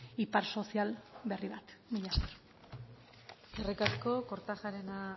ipar sozial berri bat mila esker eskerrik asko kortajarena